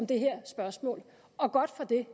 det her spørgsmål og godt for det